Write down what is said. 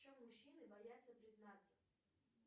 в чем мужчины боятся признаться